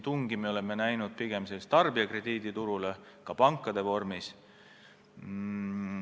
Tungi oleme näinud pigem tarbijakrediiditurul tegutseda, ka pankade puhul.